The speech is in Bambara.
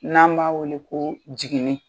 N'an b'a weele koo jigini